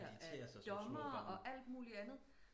De ter sig som små børn